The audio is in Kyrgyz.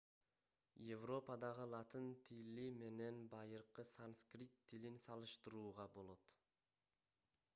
европадагы латын тили менен байыркы санскрит тилин салыштырууга болот